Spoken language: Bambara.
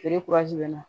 Feere bɛ na